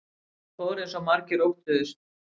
Það fór eins og margir óttuðust